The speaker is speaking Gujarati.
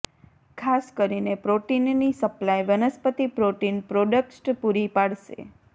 ખાસ કરીને પ્રોટીનની સપ્લાય વનસ્પતિ પ્રોટીન પ્રોડક્ટ્સ પૂરી પાડશે